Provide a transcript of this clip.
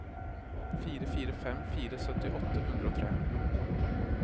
fire fire fem fire sytti åtte hundre og tre